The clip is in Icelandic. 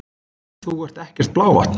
Þú ert ekkert blávatn!